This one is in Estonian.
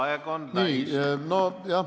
Aeg on täis!